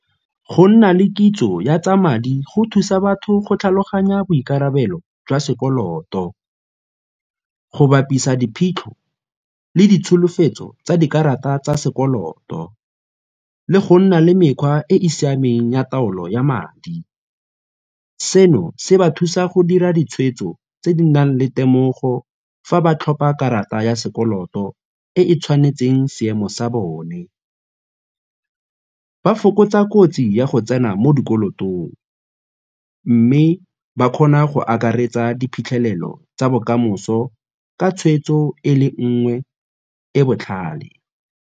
Go nna le kitso ya tsa madi go thusa batho go tlhaloganya boikarabelo jwa sekoloto, go bapisa diphitlho le ditsholofetso tsa dikarata tsa sekoloto le go nna le mekgwa e e siameng ya taolo ya madi. Seno se ba thusa go dira ditshweetso tse di nang le temogo fa ba tlhopha karata ya sekoloto e e tshwanetseng seemo sa bone. Ba fokotsa kotsi ya go tsena mo dikolotong mme ba kgona go akaretsa diphitlhelelo tsa bokamoso ka tshweetso e le nngwe e botlhale.